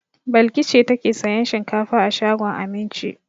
Balki ce take sayan shinkafa a shagon Aminci.